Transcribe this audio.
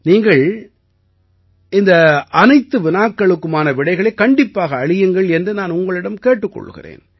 நீங்கள் இந்த அனைத்து வினாக்களுக்குமான விடைகளைக் கண்டிப்பாக அளியுங்கள் என்று நான் உங்களிடம் கேட்டுக் கொள்கிறேன்